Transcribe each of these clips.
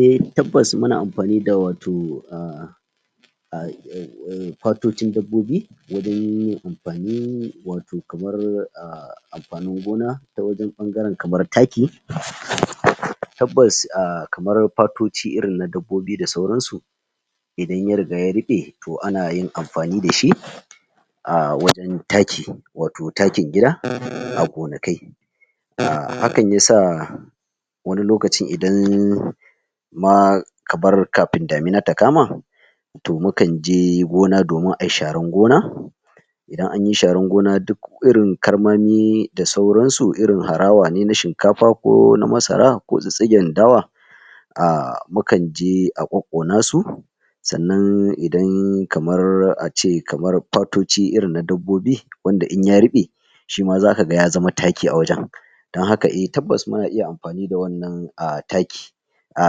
Eh tabbas mu na amfani da wato ah?? patoccin dabbobi na dai amfani wato kamar a amfanin gona ta wajen ɓangaren kamar takki, tabbas a kamar patocciirin na dabbobi da sauransu idan ya riga ya ruɓe to ana yin amfani da shi a wajen takki, wato takkin gida a gonakai akanyi saa wani lokaci idan ma, ka bar kafin damina ta kama toh mu kan je gona domin a yi sharan gona Idan anyi sharan gona duk irin ƙarmami da sauran su, irin harawa ne na shinkafa ko na masara ko tsitsige dawa a mu kan je a kokona su tsannan idan kamar a ce kamar patocci irin na dabbobi wanda in ya ruɓe shi ma za ka gan ya zaman takki a wajen don haka eh tabbas mu na iya amfani da wannan a takki a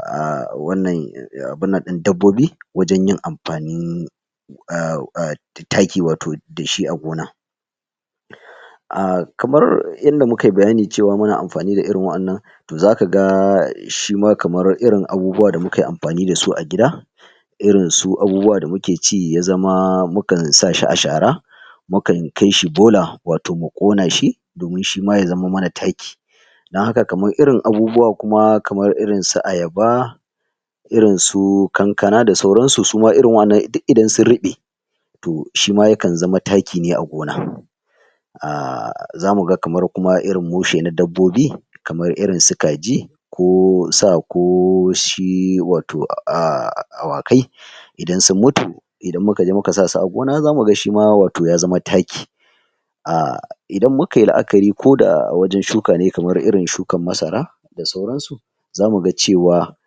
a wannan abuna din dabbobi wajen yin amfani a a takki wato da shi a gona a kamar inda mu ka yi bayana cewa muna amfani da irin wannan toh za ka ga shi ma kamar irin abubuwa da mu ka yi amfani da su a gida irin su abubuwa da mu ke ci ya zama mu kan sa shi a shara mu kan kai shi bola, wato mu ƙona shi domin shi ya zaman mana takki dan haka kamar irin abubuwa kuma kamar irin su ayaba irin su kankana da sauran su, su ma irin waƴennan duk ire-iren su, sun ruɓe toh shi ma ya kan zaman takki ne a gona a zamu ga kamar kuma irin mushe na dabbobi kamar irin su kaji ko saa, ko shi wato a awakai idan sun mutu idan mu ka je mu ka sa su a gona ai za mu gan shi ma wato ya zaman takki a idan mukayi laakari ko da wajen shuka ne kamar irin shukar masara da sauran su za mu ga cewa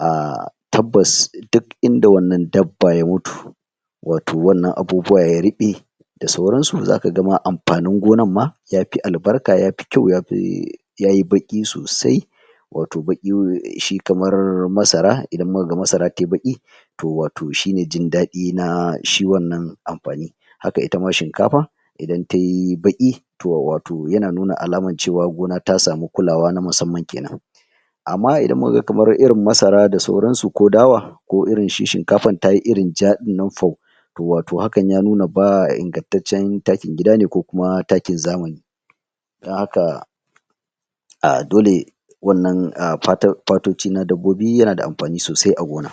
ah tabbas duk inda wannan dabba ya mutu wato wannan abubuwa ya rube da sauran su, za ka ga ma amfanin gonan ma ya fi albarka ya fi kyau, ya yi bakki sosai wato bakki, shi kamar masara idan mu ka gan masara ta yi bakki toh wato shi ne jindadi na shi wannan amfani. Haka itama shinkafa idan ta yi bakki, toh wato ya na nuna alamar gona cewa ta samu kullawa na musamman kenan amma idan mu ka gan kamar irin masara da sauran su ko dawa ko irin shi shinkafa ta yi irin ja dinnan fau toh wato haka ya nuna ba ingantaccen taki gida ne ko kuma takin zamani ta haka a dole wannan, a patar patocci na dabbobi ya na da amfani sosai a gona